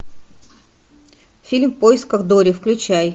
фильм в поисках дори включай